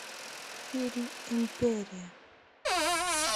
фильм империя